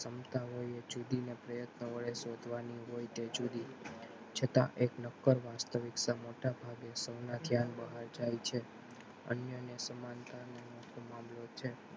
સમજતા હોય એ જુદી અને પ્રયત્ન વડે શોધવાની હોય એ જુદી છતાં એક નક્કર વાસ્તવિકતા મોટા ભાગે સૌના ખ્યાલ બહાર જાય છે અન્ય ને સમાનતા મામલો છે.